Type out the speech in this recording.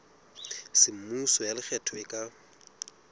semmuso ya lekgetho e ka